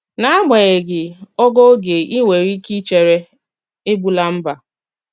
N’ágbanyeghị ògo oge í nwere ike ìchèré, ègbùlà mbà.